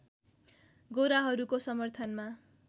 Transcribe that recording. गोराहरूको समर्थनमा